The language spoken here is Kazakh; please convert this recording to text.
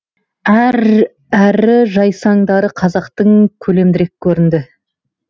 әрі жайсаңдары қазақтың көлемдірек көрінді